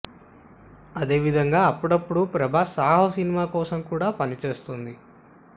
అదే విధంగా అప్పుడపుడు ప్రభాస్ సాహో సినిమా కోసం కూడా పనిచేస్తోంది